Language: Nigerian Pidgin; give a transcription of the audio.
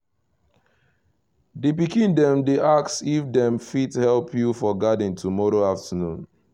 the pikin dem dey ask if dem fit help you for garden tomorrow afternoon